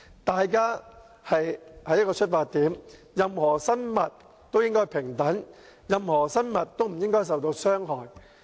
大家應有同一個出發點，就是任何生物都應平等，任何生物都不應受到傷害。